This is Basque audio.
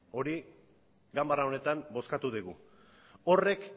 hori ganbara honetan bozkatu dugu